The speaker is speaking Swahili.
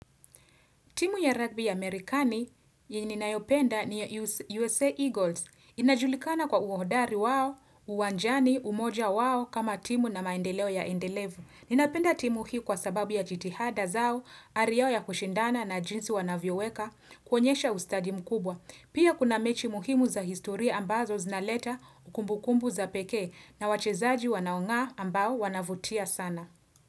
Timu ya rugby ya Amerikani yenye ninayopenda ni USA Eagles. Inajulikana kwa uhodari wao, uwanjani, umoja wao kama timu na maendeleo yaendelevu. Ninapenda timu hi kwa sababu ya jitihada zao, ari yao ya kushindana na jinsi wanavyoweka, kuonyesha ustadi mkubwa. Pia kuna mechi muhimu za historia ambazo zinaleta kumbukumbu za pekee na wachezaji wanaong'aa ambao wanavutia sana.